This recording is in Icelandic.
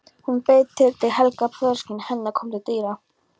Hún beið þar til Helga, föðursystir hennar, kom til dyra.